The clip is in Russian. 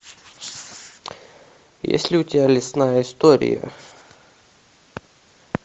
есть ли у тебя лесная история